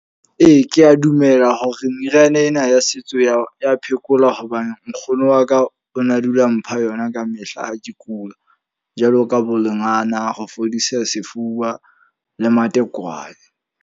Ee, ke a dumela hore meriana ena ya setso ya ya phekola. Hobane nkgono wa ka o na dula mpha yona ka mehla ha ke kula. Jwalo ka bo lengala ho fodisa sefuba le matekwane.